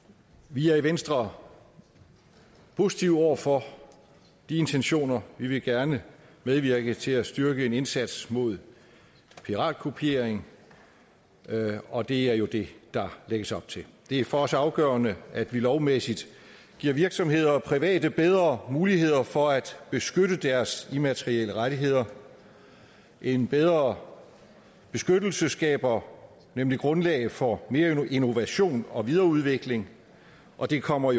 vi er i venstre positive over for de intentioner vi vil gerne medvirke til at styrke en indsats mod piratkopiering og det er jo det der lægges op til det er for os afgørende at vi lovmæssigt giver virksomheder og private bedre muligheder for at beskytte deres immaterielle rettigheder en bedre beskyttelse skaber nemlig grundlag for mere innovation og videreudvikling og det kommer